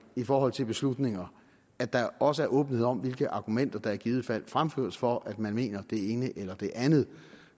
i forhold til beslutninger at der også er åbenhed om hvilke argumenter der i givet fald fremføres for at man mener det ene eller det andet